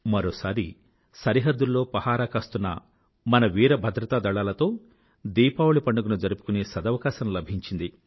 మరోశారి సరిహద్దుల్లో పరాహాకాస్తున్న మన వీర భద్రతా దళాలతో దీపావళీ పండుగ జరుపుకునే సదవకాశం లభించింది